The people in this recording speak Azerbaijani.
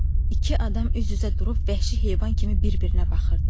İki adam üz-üzə durub vəhşi heyvan kimi bir-birinə baxırdı.